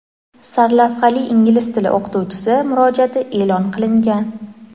sarlavhali inglizi tili o‘qituvchisi murojaati e’lon qilingan.